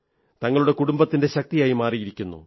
തങ്ങളുടെ കുടുംബത്തിന്റെ ശക്തിയായി മാറിയിരിക്കുന്നു